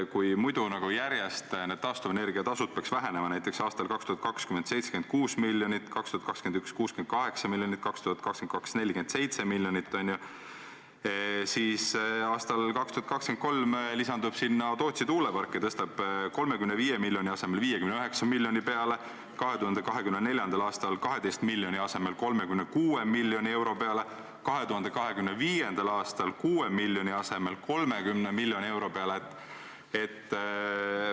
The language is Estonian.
Kui muidu peaksid taastuvenergia tasud vähenema, näiteks aastal 2020 oleks see 76 miljonit, 2021 – 68 miljonit ja 2022 – 47 miljonit, siis aastal 2023 lisanduv Tootsi tuulepark tõstab selle summa 35 miljoni asemel 59 miljonini, 2024. aastal 12 miljoni asemel 36 miljoni euroni, 2025. aastal 6 miljoni asemel 30 miljoni euroni.